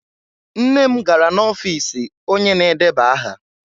Nna m gara n'ọfiisi onye na-edeba aha.